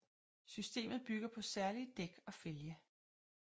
Systemet bygger på særlige dæk og fælge